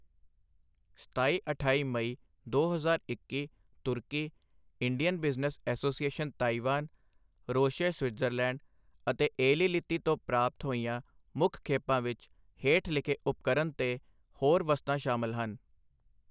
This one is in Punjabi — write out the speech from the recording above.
ਸਤਾਈ ਅਠਾਈ ਮਈ ਦੋ ਹਜ਼ਾਰ ਇੱਕੀ ਤੁਰਕੀ, Indian business association Taiwan, Roche Switzerland ਅਤੇ ਏਲੀਲਿਲੀ ਤੋਂ ਪ੍ਰਾਪਤ ਹੋਈਆਂ ਮੁੱਖ ਖੇਪਾਂ ਵਿੱਚ ਹੇਠ ਲਿਖੇ ਉਪਕਰਨ ਤੇ ਹੋਰ ਵਸਤਾਂ ਸ਼ਾਮਲ ਹਨ।